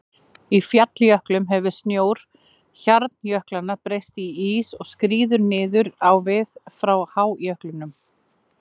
Í falljöklum hefur snjór hjarnjöklanna breyst í ís og skríður niður á við frá hájöklinum.